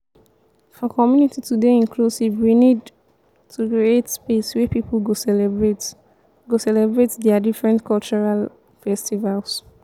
for community to dey inclusive we need to create space wey pipo go celebrate go celebrate their different cultural festivals